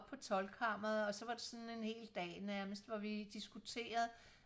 på toldkammeret og så var det sådan en hel dag nærmest hvor vi diskuterede